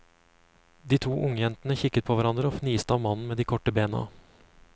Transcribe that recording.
De to ungjentene kikket på hverandre og fniste av mannen med de korte beina.